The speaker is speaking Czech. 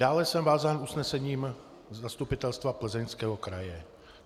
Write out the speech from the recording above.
Dále jsem vázán usnesením Zastupitelstva Plzeňského kraje.